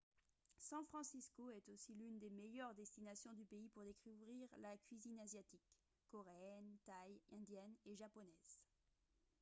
san francisco est aussi l'une des meilleures destinations du pays pour découvrir la cuisine asiatique coréenne thaï indienne et japonaise